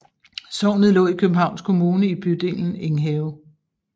Sognet lå i Københavns Kommune i bydelen Enghave